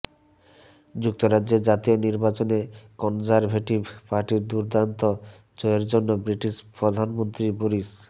যুক্তরাজ্যের জাতীয় নির্বাচনে কনজারভেটিভ পার্টির দুর্দান্ত জয়ের জন্য ব্রিটিশ প্রধানমন্ত্রী বরিস